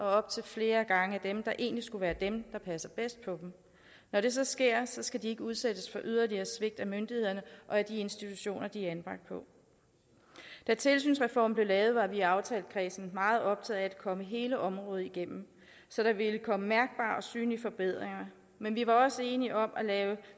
op til flere gange af dem der egentlig skulle være dem der passede bedst på dem når det så sker skal de ikke udsættes for yderligere svigt af myndighederne og af de institutioner de er anbragt på da tilsynsreformen blev lavet var vi i aftalekredsen meget optaget af at komme hele området igennem så der ville komme mærkbare og synlige forbedringer men vi var også enige om at lave